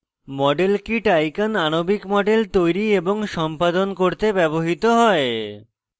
model kit icon আণবিক models তৈরি এবং সম্পাদন করতে ব্যবহৃত হয়